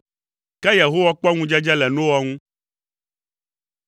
Ke Yehowa kpɔ ŋudzedze le Noa ŋu.